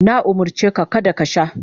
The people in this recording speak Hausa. Na umurce ka kada ka sha.